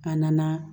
A nana